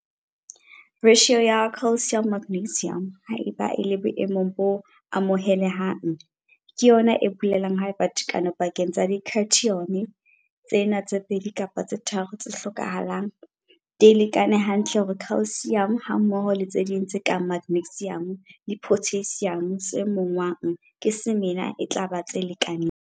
Ratio ya calcium magnesium, haeba e le boemong bo amohelehang, ke yona e bolelang haeba tekano pakeng tsa di-cation tsena tse pedi kapa tse tharo tse hlokahalang, di lekane hantle hore calcium hammoho le tse ding tse kang magnesium le potassium tse monngwang ke semela e tla ba tse lekaneng.